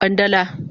Kwandala